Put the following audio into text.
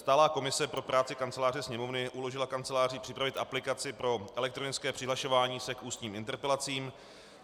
Stálá komise pro práci Kanceláře Sněmovny uložila Kanceláři připravit aplikaci pro elektronické přihlašování se k ústním interpelacím.